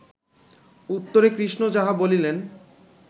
উত্তরে কৃষ্ণ যাহা বলিলেন